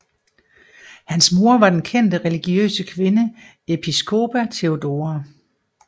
Hans mor var den kendte religiøse kvinde Episcopa Theodora